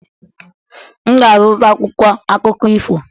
M ga-azụta akwụkwọ akụkọ ifo.